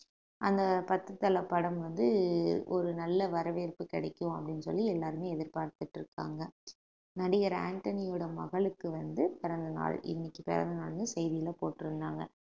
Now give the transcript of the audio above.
அந்த பத்து தலை படம் வந்து ஒரு நல்ல வரவேற்பு கிடைக்கும் அப்படின்னு சொல்லி எல்லாருமே எதிர்பார்த்துட்டு இருக்காங்க நடிகர் ஆண்டனியோட மகளுக்கு வந்து பிறந்த நாள் இன்னைக்கு பிறந்த நாளுன்னு செய்தியில போட்டிருந்தாங்க